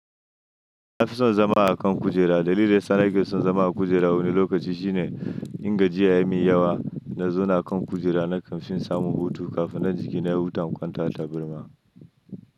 Na fi son zama a kan kujera. Dalilin da sana ge son zama a kujera wani lokaci shine in gajiya ya mi yawa, na zauna kan kujera na kamfanin samu hutu kafin na jiki na ya huta kwanta ta birma.